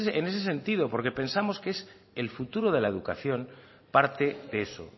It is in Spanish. en ese sentido porque pensamos que es el futuro de la educación parte de eso